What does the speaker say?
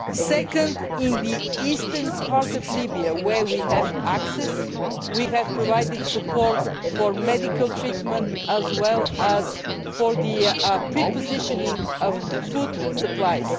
Second, in the Eastern part of Libya to which we have access, we have provided support for medical treatment as well as for the prepositioning of food supplies.